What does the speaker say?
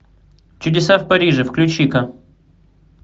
чудеса в париже включи ка